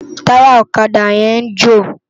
Tàyá òkadá yèn n jó